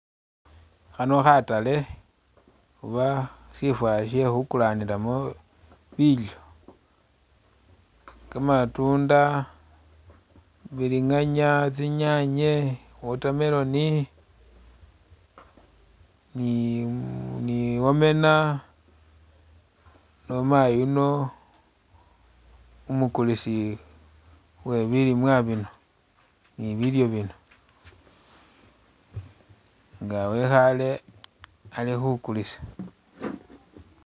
Khano khatale oba shifo shekhukulanilamo bilyo, kamatunda, bilinganya, tsinyanye, watermelon nimu- ni owena niwo mayi yuno umukulisi uwe bilimwa bino ni bilyo bino nga wekhale ali khukulisa.